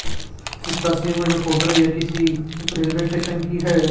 इस तस्वीर में जो फोटो है ये किसी रेलवे स्टेशन की है।